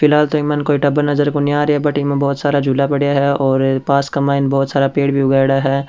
फ़िलहाल तो इक मायन कोई टाबर कोणी नजर रही आ रहियो है बट इमें बहुत सारा झूला पड़िया है और पास के मायने बहुत सारा पेड़ भी उगायाडा है।